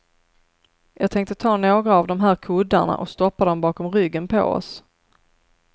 Jag tänkte ta några av de här kuddarna och stoppa dem bakom ryggen på oss.